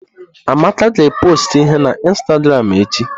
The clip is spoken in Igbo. Amaka ga pọstụ ihe na ịnstagramụ echi.